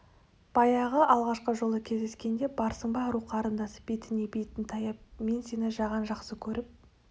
баяғы алғашқы жолы кездескенде барсың ба ару қарындас бетіне бетін таяп мен сені жаған жақсы көріп